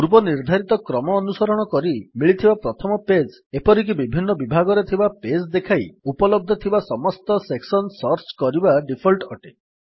ପୂର୍ବ ନିର୍ଦ୍ଧାରିତ କ୍ରମ ଅନୁସରଣ କରି ମିଳିଥିବା ପ୍ରଥମ ପେଜ୍ ଏପରିକି ବିଭିନ୍ନ ବିଭାଗରେ ଥିବା ପେଜ୍ ଦେଖାଇ ଉପଲବ୍ଧ ଥିବା ସମସ୍ତ ସେକ୍ସନ୍ ସର୍ଚ୍ଚ କରିବା ଡିଫଲ୍ଟ୍ ଅଟେ